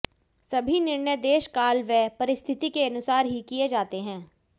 सभी निर्णय देश काल व परिस्थिति के अनुसार ही किये जाते हैं